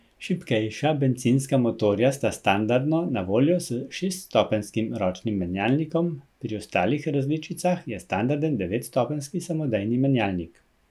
Šibkejša bencinska motorja sta standardno na voljo s šeststopenjskim ročnim menjalnikom, pri ostalih različicah je standarden devetstopenjski samodejni menjalnik.